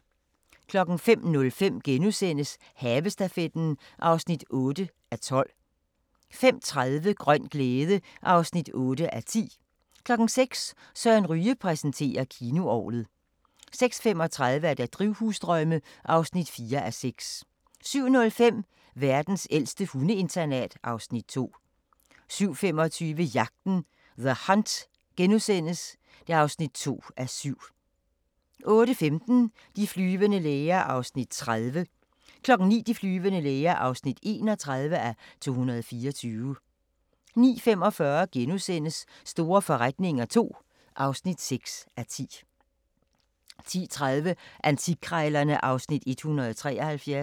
05:05: Havestafetten (8:12)* 05:30: Grøn glæde (8:10) 06:00: Søren Ryge præsenterer: Kinoorglet 06:35: Drivhusdrømme (4:6) 07:05: Verdens ældste hundeinternat (Afs. 2) 07:25: Jagten – The Hunt (2:7)* 08:15: De flyvende læger (30:224) 09:00: De flyvende læger (31:224) 09:45: Store forretninger II (6:10)* 10:30: Antikkrejlerne (Afs. 173)